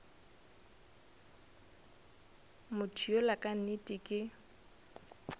motho yola ka nnete ke